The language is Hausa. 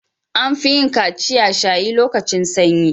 An fi yin kaciya/shayi lokacin sanyi.